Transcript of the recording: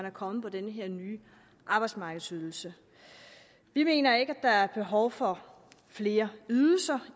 er kommet på den her nye arbejdsmarkedsydelse vi mener ikke at der er behov for flere ydelser